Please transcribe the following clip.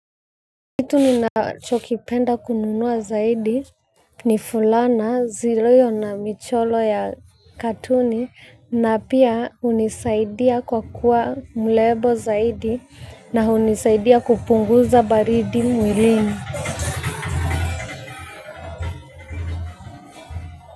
Kitu ninachokipenda kununua zaidi ni fulana zilio na michoro ya katuni na pia hunisaidia kwa kuwa mrembo zaidi na hunisaidia kupunguza baridi mwilini.